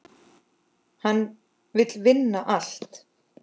Hann vill vinna allt.